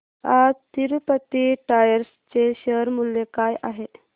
आज तिरूपती टायर्स चे शेअर मूल्य काय आहे